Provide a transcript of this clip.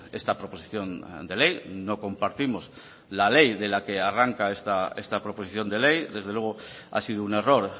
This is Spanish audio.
esta proposición de ley no compartimos la ley de la que arranca esta proposición de ley desde luego ha sido un error